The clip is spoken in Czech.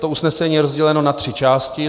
To usnesení je rozděleno na tři části.